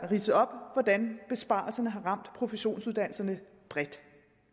ridset op hvordan besparelserne har ramt professionsuddannelserne bredt